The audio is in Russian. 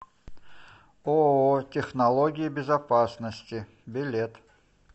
ооо технологии безопасности билет